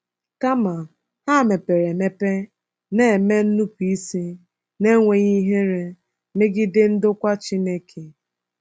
Kama, ha mepere emepe na-eme nnupụisi na-enweghị ihere megide ndokwa Chineke.